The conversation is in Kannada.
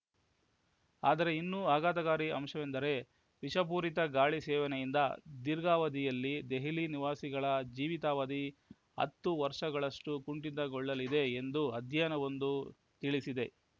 ಆದರೆ ಇನ್ನೂ ಆಘಾತಕಾರಿ ಅಂಶವೆಂದರೆ ವಿಷಪೂರಿತ ಗಾಳಿ ಸೇವನೆಯಿಂದ ದೀರ್ಘಾವಧಿಯಲ್ಲಿ ದೆಹಲಿ ನಿವಾಸಿಗಳ ಜೀವಿತಾವಧಿ ಹತ್ತು ವರ್ಷಗಳಷ್ಟು ಕುಂಠಿತಗೊಳ್ಳಲಿದೆ ಎಂದು ಅಧ್ಯಯನವೊಂದು ತಿಳಿಸಿದೆ